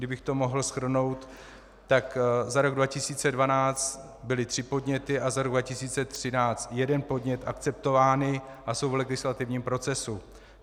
Kdybych to mohl shrnout, tak za rok 2012 byly tři podněty a za rok 2013 jeden podnět akceptovány a jsou v legislativním procesu.